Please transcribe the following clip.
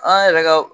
An yɛrɛ ka